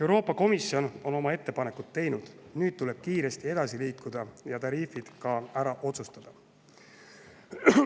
Euroopa Komisjon on oma ettepanekud teinud, nüüd tuleb kiiresti edasi liikuda ja tariifid ka ära otsustada.